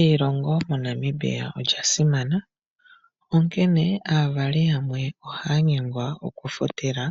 Eilongo moNamibia olya simana onkene aavali yamwe ohaya nyengwa oku futila